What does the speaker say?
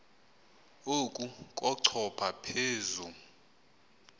oku kochopha phezu